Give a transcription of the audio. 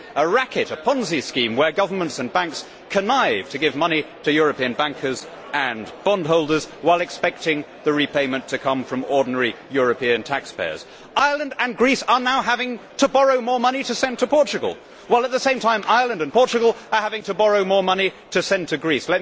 There is a racket a Ponzi scheme whereby governments and banks connive to give money to European bankers and bondholders, while expecting the repayment to come from ordinary European taxpayers. Ireland and Greece are now having to borrow more money to send to Portugal, while at the same time Ireland and Portugal are having to borrow more money to send to Greece.